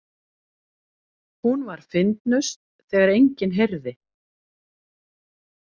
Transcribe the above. Hún var fyndnust þegar enginn heyrði.